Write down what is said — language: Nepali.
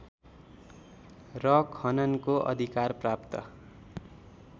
र खननको अधिकार प्राप्त